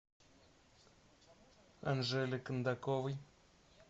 анжеле кондаковой